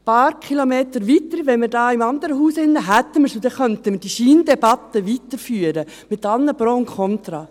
Ein paar Kilometer weiter, dort drüben im anderen Haus, hätten wir sie, und dann könnten wir diese Scheindebatte weiterführen, mit allen Pros und Kontras.